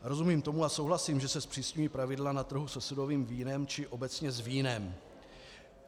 Rozumím tomu a souhlasím, že se zpřísňují pravidla na trhu se sudovým vínem či obecně s vínem.